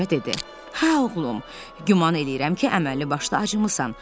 Qoca dedi: Hə oğlum, güman eləyirəm ki, əməlli başlı acmısan.